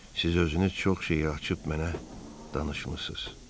Siz özünüz çox şeyi açıb mənə danışmısınız.